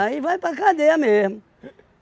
Aí vai para cadeia mesmo.